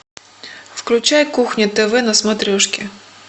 включай кухня тв на смотрешке